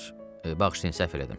Bağışlayın, səhv elədim.